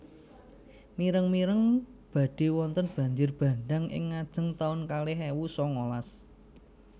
Mireng mireng badhe wonten banjir bandhang ing ngajeng taun kalih ewu sangalas